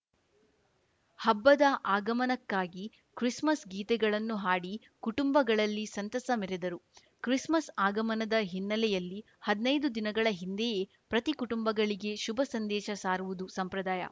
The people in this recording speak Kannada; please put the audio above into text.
ಹಬ್ಬದ ಆಗಮನಕ್ಕಾಗಿ ಕ್ರಿಸ್‌ಮಸ್‌ ಗೀತೆಗಳನ್ನು ಹಾಡಿ ಕುಟುಂಬಗಳಲ್ಲಿ ಸಂತಸ ಮೆರೆದರು ಕ್ರಿಸ್‌ಮಸ್‌ ಆಗಮನದ ಹಿನ್ನೆಲೆಯಲ್ಲಿ ಹದ್ನೈದು ದಿನಗಳ ಹಿಂದೆಯೇ ಪ್ರತಿ ಕುಟುಂಬಗಳಿಗೆ ಶುಭ ಸಂದೇಶ ಸಾರುವುದು ಸಂಪ್ರದಾಯ